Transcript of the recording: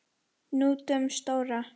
Hnútinn stóra.